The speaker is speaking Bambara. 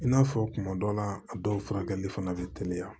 I n'a fɔ kuma dɔ la a dɔw furakɛli fana bɛ teliya